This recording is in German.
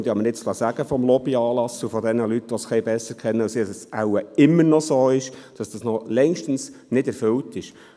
Und ich habe mir nun vom Lobbying-Anlass und von jenen Leuten, die es ein wenig besser kennen, sagen lassen, dass dies wohl noch immer längst nicht erfüllt ist.